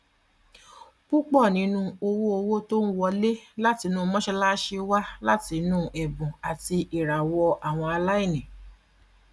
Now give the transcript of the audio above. púpọ ninu owóòwò tó ń wọlé látinú mọṣàlásì wá láti inú ẹbùn àti ìràwọ àwọn aláìní